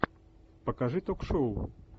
покажи ток шоу